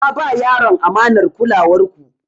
Na ba yaron amanar kulawar ku.